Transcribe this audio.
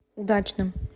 удачным